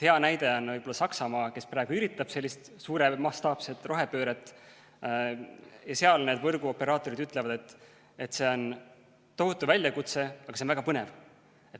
Hea näide on võib-olla Saksamaa, kes praegu üritab sellist suuremastaapset rohepööret, ja seal need võrguoperaatorid ütlevad, et see on tohutu väljakutse, aga see on väga põnev.